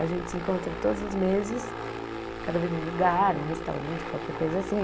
A gente se encontra todos os meses, cada vez num lugar, num restaurante, qualquer coisa assim.